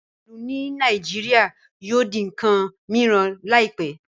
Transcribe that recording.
Iselu ni Naijiria yóò di nkan miran laipẹ.